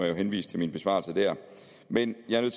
jo henvise til min besvarelse der men jeg er